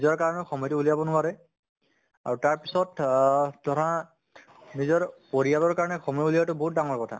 নিজৰ কাৰণে সময়্তো উলিয়াব নোৱাৰে আৰে তাৰ পিছত অহ ধৰা নিজৰ পৰিয়ালৰ কাৰণে সময় উলিওৱাতো বহুত ডাঙৰ কথা